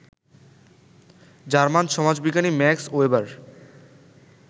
German সমাজবিজ্ঞানী Max weber